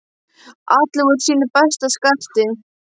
Allir voru í sínu besta skarti.